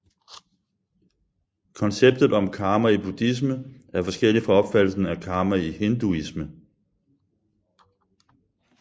Konceptet om karma i buddhisme er forskellig fra opfattelsen af karma i hinduisme